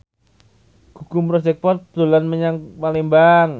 Gugum Project Pop dolan menyang Palembang